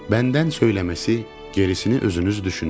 Məndən söyləməsi, gerisini özünüz düşünün.